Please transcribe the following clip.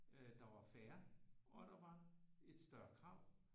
Der var færre og der var et større krav